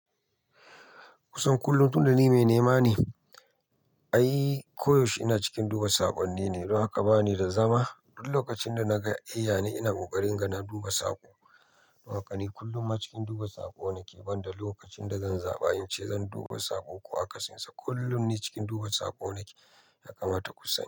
Kusan kullum tun da ni mai nema ne, ai koyaushe ina cikin duba saƙonni ne. Don haka bani da zama. Duk lokacin da na ga eh ya ne ina kokarin naga na duba saƙo. Don haka ni kullum ma cikin duba saƙo nake, banda lokacin da zan zaɓi in ce zan duba saƙo ko akasinsa. Kullum ni cikin duba saƙo nake, ya kamata kusani.